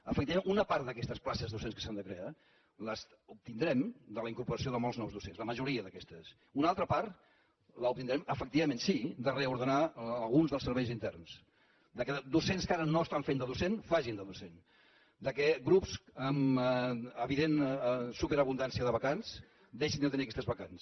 efectivament una part d’aquestes places docents que s’han de crear les obtindrem de la incorporació de molts nous docents la majoria d’aquestes una altra part l’obtindrem efectivament sí de reordenar alguns dels serveis interns del fet que docents que ara no estan fent de docents facin de docents que grups amb evident superabundància de vacants deixin de tenir aquestes vacants